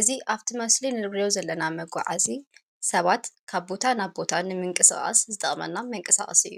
እዝ ኣብቲ መስሊን ነልግርዩ ዘለና መጕዓእሲ ሰባት ካብ ቦታ ናብ ቦታ ንምንቅሣቃስ ዝጠቕመና መንቅሣቃስ እዩ::